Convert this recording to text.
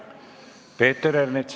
Peeter Ernits.